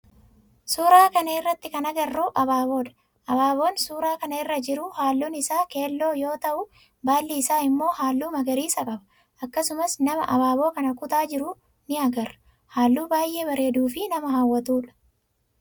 suuraa kana irratti kan agarru ababoodha. Abaaboon suuraa kana irra jiru halluun isaa keelloo yoo ta'u baallii isaa immoo halluu magariisa qaba. akkasumas nama abaaboo kana kutaa jiru ni agarra. halluu baayyee bareeduu fi nama hawwatuudha.